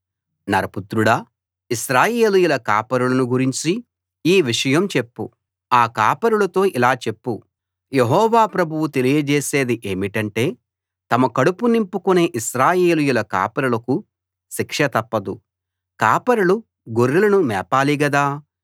నరపుత్రుడా ఇశ్రాయేలీయుల కాపరులను గురించి ఈ విషయం చెప్పు ఆ కాపరులతో ఇలా చెప్పు యెహోవా ప్రభువు తెలియజేసేది ఏమిటంటే తమ కడుపు నింపుకునే ఇశ్రాయేలీయుల కాపరులకు శిక్ష తప్పదు కాపరులు గొర్రెలను మేపాలి గదా